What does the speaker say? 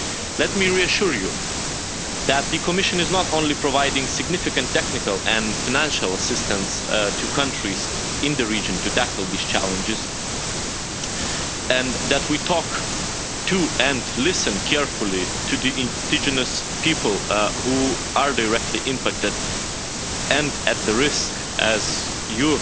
Let me reassure you that the Commission is not only providing significant technical and financial assistance to countries in the region to tackle these challenges, and that we talk to and listen carefully to the indigenous people who are directly impacted and at risk, as you,